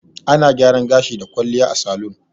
Ana gyaran gashi da kwalliya a salun.